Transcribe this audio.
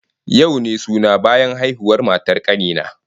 Yau ne suna bayan haihuwar matar kani na